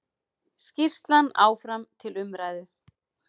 Skýrslan áfram til umræðu